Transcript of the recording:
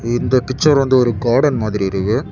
இந்த பிச்சர் வந்து ஒரு கார்டன் மாதிரி இருக்கு.